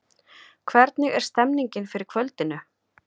Hvernig er stemningin fyrir kvöldinu?